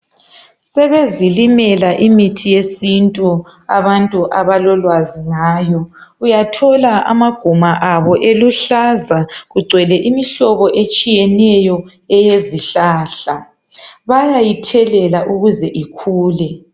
Sebezilimela imithi yesintu abantu abalolwazi ngayo,. Uyathola amaguma abo eluhlaza kugcwele imihlobo etshiyeneyo eyezihlahla bayayithelela ukuze ikhule.